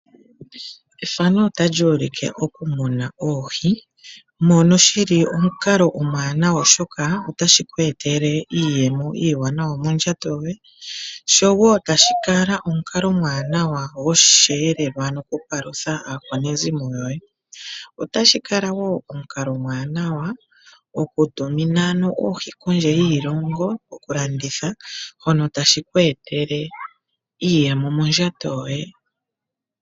Ethano otali ulike oku muna oohi , mono shili omukalo omuwanawa oshoka otashi ku etele iiyemo iiwanawa mondjato yoye , sho woo tashi kala omukalo omuwanawa gosheelelwa ano okupalutha aakwanezimo yoye . Otashi kala woo omukalo omuwanawa okutumina ano oohi kondje yiilongo , okulanditha hono tashi ku etele iiyemo mondjato yoye.